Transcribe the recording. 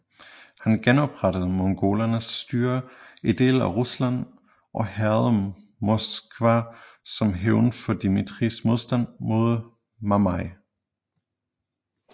Han genoprettede mongolernes styre i dele af Rusland og hærgede Moskva som hævn for Dmitrijs modstand mod Mamai